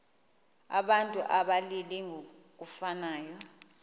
abantu abalili ngokufanayo